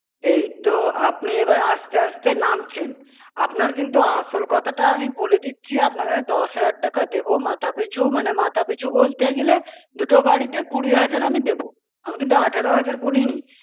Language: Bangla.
এইতো আপনি এবার আস্তে আস্তে নামছেন. আপনার কিন্তু আসল কথাটা আমি বলে দিচ্ছি, আপনাকে আমি দশ হাজার টাকা দেব মাথা পিছু, মানে মাথা পিছু বলতে গেলে, দুটো গাড়িতে কুড়ি হাজার আমি দেব। আমি কিন্তু আঠারো হাজার বলিনি।